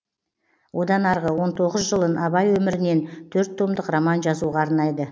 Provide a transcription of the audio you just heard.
одан арғы он тоғыз жылын абай өмірінен төрт томдық роман жазуға арнайды